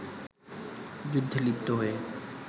যুদ্ধে লিপ্ত হয়ে